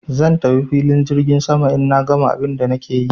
Zan tafi filin jirgin saman in na gama abun da nake yi.